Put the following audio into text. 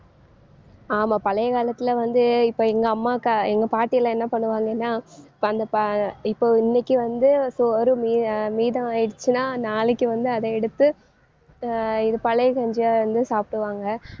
ஆமா பழைய காலத்திலே வந்து இப்ப எங்க அம்மாக்கா எங்க பாட்டியெல்லாம் என்ன பண்ணுவாங்கன்னா இப்ப அந்த ப~ இப்போ இன்னைக்கு வந்து சோறு மீதம் மீதம் ஆயிடுச்சுன்னா நாளைக்கு வந்து அதை எடுத்து அஹ் இது பழைய கஞ்சியா வந்து சாப்பிடுவாங்க.